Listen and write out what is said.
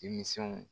Denmisɛnw